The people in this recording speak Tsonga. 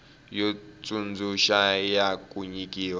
yo tsundzuxa ya ku nyikiwa